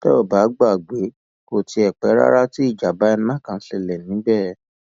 tẹ ò bá gbàgbé kò tí ì pẹ rárá tí ìjàmbá iná kan ṣẹlẹ níbẹ